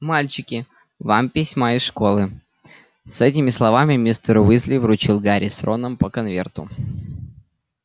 мальчики вам письма из школы с этими словами мистер уизли вручил гарри с роном по конверту